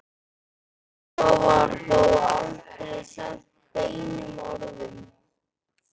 Svo var þó aldrei sagt beinum orðum.